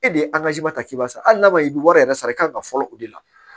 E de ye ta k'i b'a sara hali n'a ma i bɛ wari yɛrɛ sara i kan ka fɔlɔ o de la